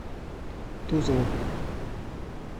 тузову